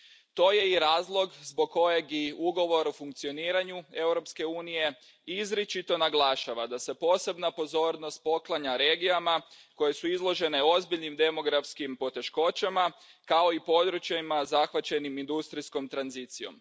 To je i razlog zbog kojeg i Ugovor o funkcioniranju Europske unije izričito naglašava da se posebna pozornost poklanja regijama koje su izložene ozbiljnim demografskim poteškoćama, kao i područjima zahvaćenim industrijskom tranzicijom.